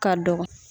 Ka dɔgɔ